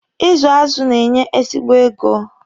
Ịzụ azụ na-enye ezigbo ego.